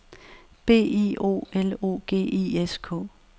B I O L O G I S K